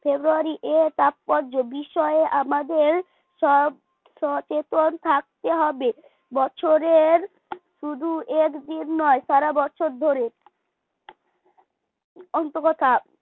ফেব্রুয়ারি তাৎপর্য বিষয়ে আমাদের সব সচেতন থাকতে হবে বছরের শুধু একদিন নয় সারা বছর ধরে আন্তাকথা